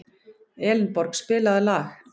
Elenborg, spilaðu lag.